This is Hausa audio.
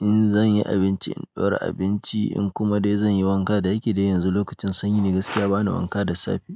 in zan yi abinci in ɗora abinci in kuma dai zan yi wanka. Da yake dai yanzu lokacin sanyi ni gaskiya ba ni wanka da safe.